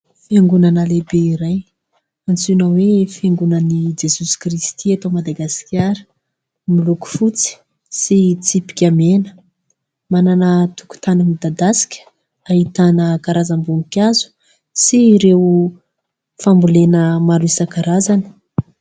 Fiangonana lehibe iray, antsoina hoe fiangonan'i jesosy kristy eto madagasikara miloko fotsy sy tsipika mena manana tokontany midadasika ahitana karazam-bonikazo sy ireo fambolena maro isankarazany .